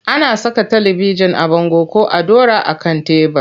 Ana saka talibijin a bango ko a ɗora a kan tebur.